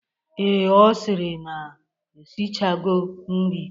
Ee, Ọ sịrị na ya eshichago nri.